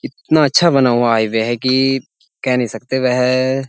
इतना अच्छा बना हुआ हाइवे है कि कह नहीं सकते। वह --